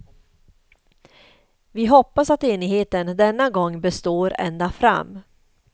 Vi hoppas att enigheten denna gång består ända fram.